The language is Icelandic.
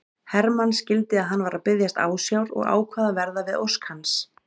Hermann skildi að hann var að biðjast ásjár og ákvað að verða við ósk hans.